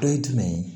Dɔ ye jumɛn ye